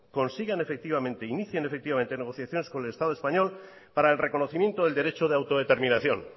consigan efectivamente inicien efectivamente negociaciones con el estado español para el reconocimiento del derecho de autodeterminación